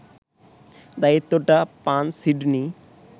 দায়িত্বটা পান সিডনি